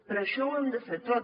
per això ho hem de fer tot